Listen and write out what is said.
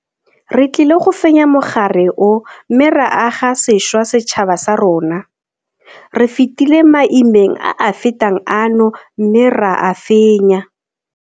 Re tlile go fenya mogare o mme ra aga sešwa setšhaba sa rona. Re fetile maimeng a a fetang ano mme ra a fenya.